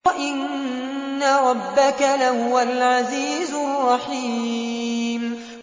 وَإِنَّ رَبَّكَ لَهُوَ الْعَزِيزُ الرَّحِيمُ